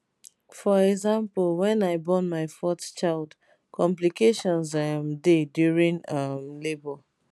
for example wen i born my fourth child complications um dey during um labour